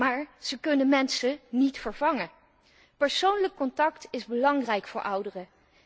Maar zij kunnen mensen niet vervangen. Persoonlijk contact is belangrijk voor ouderen.